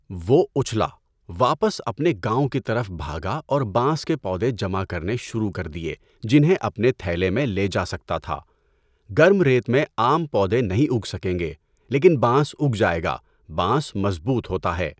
وہ اچھلا، واپس اپنے گاؤں کی طرف بھاگا اور بانس کے پودے جمع کرنا شروع کر دیے جنہیں اپنے تھیلے میں لے جا سکتا تھا۔ گرم ریت میں عام پودے نہیں اگ سکیں گے، لیکن بانس اُگ جائے گا، بانس مضبوط ہوتا ہے!